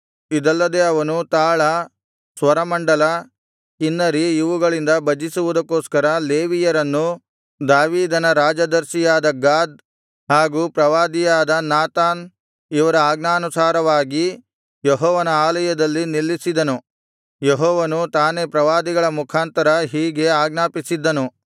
ಇದಲ್ಲದೆ ಅವನು ತಾಳ ಸ್ವರಮಂಡಲ ಕಿನ್ನರಿ ಇವುಗಳಿಂದ ಭಜಿಸುವುದಕ್ಕೋಸ್ಕರ ಲೇವಿಯರನ್ನು ದಾವೀದನ ರಾಜದರ್ಶಿಯಾದ ಗಾದ್ ಹಾಗು ಪ್ರವಾದಿಯಾದ ನಾತಾನ್ ಇವರ ಆಜ್ಞಾನುಸಾರವಾಗಿ ಯೆಹೋವನ ಆಲಯದಲ್ಲಿ ನಿಲ್ಲಿಸಿದನು ಯೆಹೋವನು ತಾನೇ ಪ್ರವಾದಿಗಳ ಮುಖಾಂತರ ಹೀಗೆ ಆಜ್ಞಾಪಿಸಿದ್ದನು